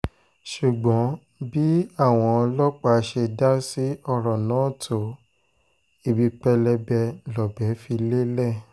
ṣùgbọ́n bí àwọn ọlọ́pàá ṣe dá sí ọ̀rọ̀ náà tó ibi pẹlẹbẹ lọ̀bẹ fi lélẹ̀